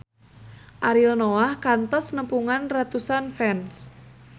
Ariel Noah kantos nepungan ratusan fans